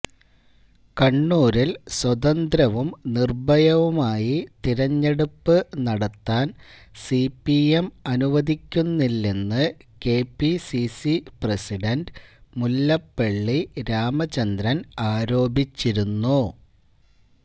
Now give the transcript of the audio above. കണ്ണൂരിൽ സ്വതന്ത്രവും നിർഭയവുമായി തെരഞ്ഞെടുപ്പ് നടത്താൻ സിപിഎം അനുവദിക്കുന്നില്ലെന്ന് കെപിസിസി പ്രസിഡന്റ് മുല്ലപ്പള്ളി രാമചന്ദ്രൻ ആരോപിച്ചിരുന്നു